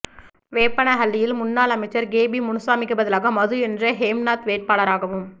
வேப்பனஹள்ளியில் முன்னாள் அமைச்சர் கேபி முனுசாமிக்கு பதிலாக மது என்ற ஹேம்நாத் வேட்பாளராகவும்